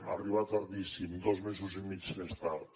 ha arribat tardíssim dos mesos i mig més tard